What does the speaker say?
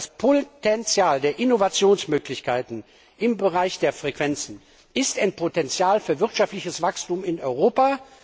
Das Potenzial der Innovationsmöglichkeiten im Bereich der Frequenzen ist ein Potenzial für wirtschaftliches Wachstum in Europa.